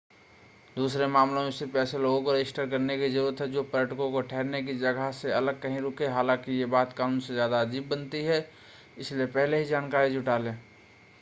दूसरे मामलों में सिर्फ़ ऐसे लोगों को रजिस्टर करने की ज़रुरत है जो पर्यटकों के ठहरने की जगहों से अलग कहीं रुके हैं हालांकि यह बात कानून को ज़्यादा अजीब बनाती है इसलिए पहले ही जानकारी जुटा लें